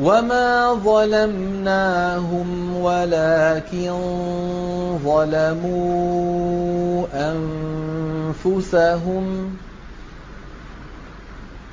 وَمَا ظَلَمْنَاهُمْ وَلَٰكِن ظَلَمُوا أَنفُسَهُمْ ۖ